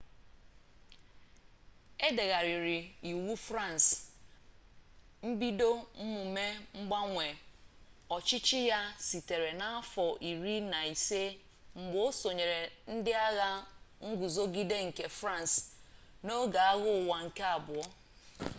e degharịrị iwu fransị mbido mmume mgbanwe ọchịchị ya sitere n'afọ iri na ise mgbe o sonyere ndị agha nguzogide nke fransị n'oge agha ụwa nke abụọ